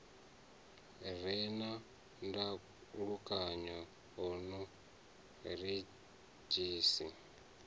re na ndalukanyo o redzhisi